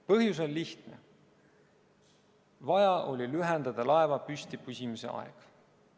Põhjus on lihtne: vaja oli lühendada laeva püsti püsimise aega.